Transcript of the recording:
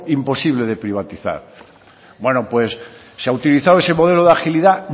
imposible de privatizar bueno pues se ha utilizado ese modelo de agilidad